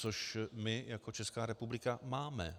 Což my jako Česká republika máme.